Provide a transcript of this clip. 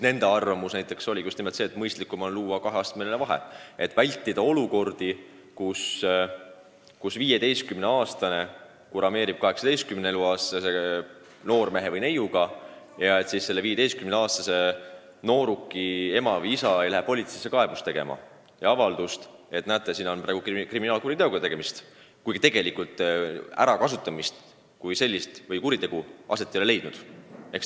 Nende arvamus oli, et mõistlikum on sätestada kaheastmeline vahe, et vältida olukordi, kus 15-aastane kurameerib 18-eluaastase noormehe või neiuga ja siis selle 15-aastase nooruki ema või isa läheb politseisse avaldust tegema, et näete, siin on praegu kriminaalkuriteoga tegemist, kuigi tegelikult ärakasutamist ehk siis kuritegu ei ole aset leidnud.